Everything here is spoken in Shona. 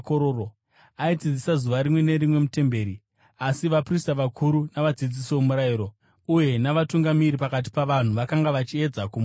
Aidzidzisa zuva rimwe nerimwe mutemberi. Asi vaprista vakuru navadzidzisi vomurayiro uye navatungamiri pakati pavanhu vakanga vachiedza kumuuraya.